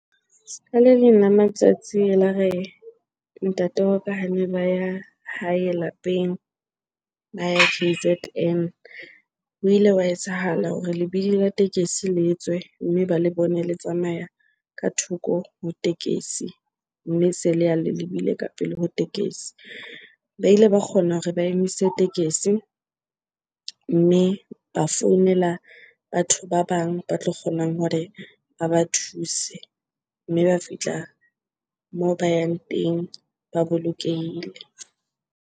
Ska le leng la matsatsi elare ntate wa ka hane ba ya hae lapeng, ba ya K_Z_N. Ho ile hwa etsahala hore lebidi la tekesi le tswe mme ba le bone le tsamaya ka thoko ho tekesi, mme se leya le lebile ka pele ho tekesi. Ba ile ba kgona hore ba emise tekesi, mme ba founela batho ba bang ba tlo kgonang hore ba ba thuse. Mme ba fihla moo ba yang teng ba bolokehile.